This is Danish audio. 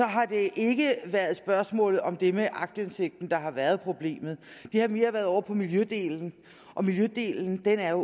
har det ikke været spørgsmålet om det med aktindsigt der har været problemet det har mere været ovre på miljødelen og miljødelen er